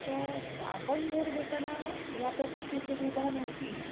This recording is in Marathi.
तर आपण घर घेताना ह्या प्रकारची सुविधा नव्हती.